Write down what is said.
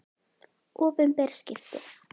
Opinber skipti